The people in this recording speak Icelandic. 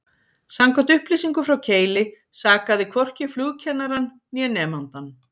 Samkvæmt upplýsingum frá Keili sakaði hvorki flugkennarann, né nemandann.